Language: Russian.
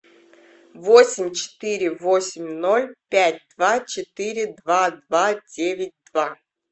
восемь четыре восемь ноль пять два четыре два два девять два